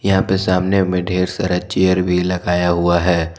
यहां पे सामने में ढेर सारा चेयर भी लगाया हुआ है।